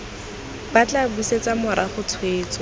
bo tla busetsa morago tshwetso